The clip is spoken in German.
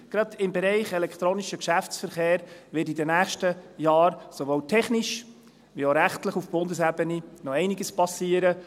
Ich bin überzeugt, gerade im Bereich «elektronischer Geschäftsverkehr» wird in den nächsten Jahren sowohl technisch als auch rechtlich auf Bundesebene noch einiges geschehen.